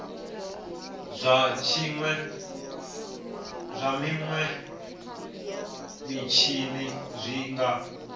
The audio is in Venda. zwa minwe mitshini zwi nga